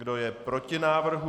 Kdo je proti návrhu?